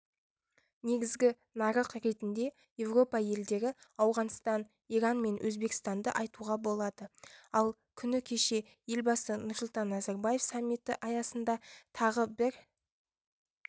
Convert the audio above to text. негізгі нарық ретінде еуропа елдері ауғанстан иран мен өзбекстанды айтуға болады ал күні кеше елбасы нұрсұлтан назарбаев саммиті аясында тағы бір